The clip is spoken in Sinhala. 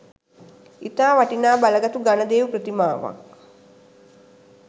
ඉතා වටිනා බලගතු ගණදෙවි ප්‍රතිමාවක්